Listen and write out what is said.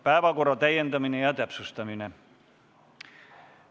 Päevakorra täiendamine ja täpsustamine.